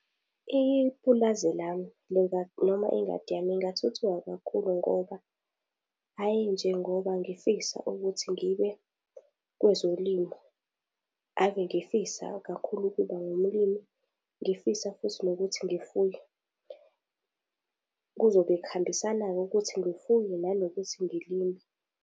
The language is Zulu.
Ipulazi lami noma ingadi yami ithuthuka kakhulu ngoba hhayi njengoba ngifisa ukuthi ngibe kwezolimo, ave ngifisa kakhulu ukuba ngumlimi. Ngifisa futhi nokuthi ngifuye kuzobe kuhambisana-ke ukuthi ngifuye nanokuthi ngilime.